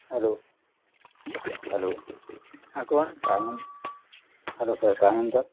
hello Hello हा कोण काय म्हण hello sir काय म्हणता